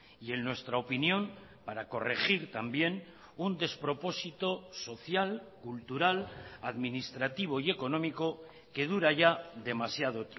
y en nuestra opinión para corregir también un despropósito social cultural administrativo y económico que dura ya demasiado